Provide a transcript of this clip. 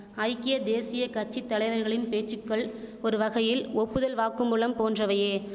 ஐக்கிய தேசியக்கட்சித் தலைவர்களின் பேச்சுக்கள் ஒருவகையில் ஒப்புதல் வாக்குமூலம் போன்றவையே